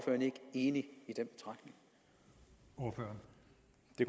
ni hvor